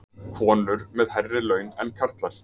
Konur með hærri laun en karlar